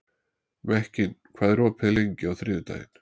Mekkin, hvað er opið lengi á þriðjudaginn?